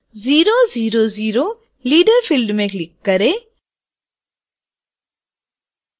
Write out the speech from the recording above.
000 leader field में click करें